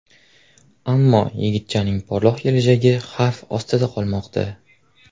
Ammo yigitchaning porloq kelajagi xavf ostida qolmoqda.